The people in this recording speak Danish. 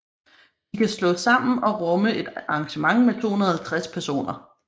De kan slås sammen og rumme et arrangement med 250 personer